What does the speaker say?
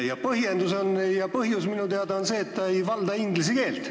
Põhjus on minu teada see, et ta ei valda inglise keelt.